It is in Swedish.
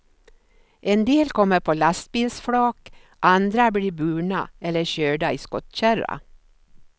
En del kommer på lastbilsflak, andra blir burna eller körda i skottkärra.